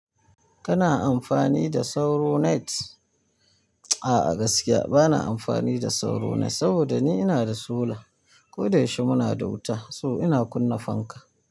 Kana amfani da sauro net. A'a gaskiya bana amfani da sauron net saboda ni ina da solar. Koda yaushe muna da wuta so ina kunna fanka.